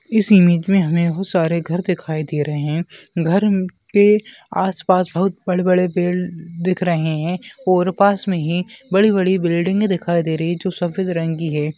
इस इमेज मे हमे बहुत सारे घर दीखाई दे रहे है घर के आसपास बहुत बड़े बड़े पेड़ दिख रहे है और पास मे ही बड़ी बड़ी बिल्डिंगे दिखाई दे रही है जो सफ़ेद रंग की है।